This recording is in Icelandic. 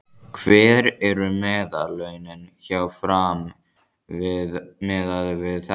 Hver eru meðallaunin hjá Fram miðað við þetta?